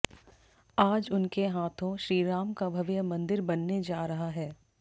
आज उनके हाथों श्रीराम का भव्य मंदिर बनने जा रहा है